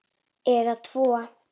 Eða tvo.